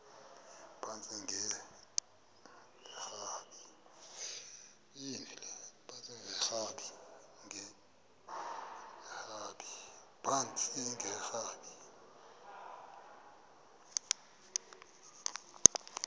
phantsi enge lrabi